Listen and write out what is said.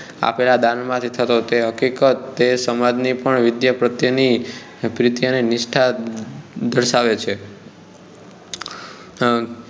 આપેલા દાનમાંથી થતો તે હકીકત તે સમાજ ની પણ વિદ્યા પ્રત્યે ની પ્રીતિ અને નિષ્ઠા દર્શાવે છે આ